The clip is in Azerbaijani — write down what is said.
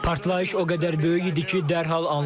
Partlayış o qədər böyük idi ki, dərhal anladım.